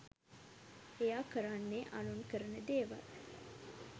එයා කරන්නේ අනුන් කරන දේවල්